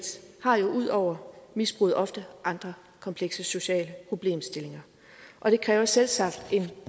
har ud over misbruget ofte andre komplekse sociale problemstillinger og det kræver selvsagt en